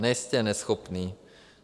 Nejste neschopný.